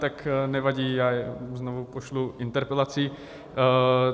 Tak nevadí, já je znovu pošlu interpelací.